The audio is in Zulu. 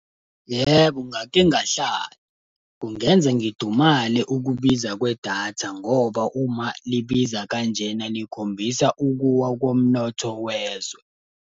Yebo ngake ngahlala. Kungenza ngidumale ukubiza kwedatha ngoba uma libiza kanjena likhombisa ukuwa komnotho wezwe.